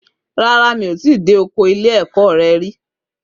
Rárá, mi ò tíì dé ọkọ ilé ẹ̀kọ́ re rí